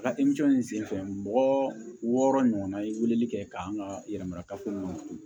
A ka in senfɛ mɔgɔ wɔɔrɔ ɲɔgɔnna ye weleli kɛ k'an ka yɛrɛmarafo kɔnɔ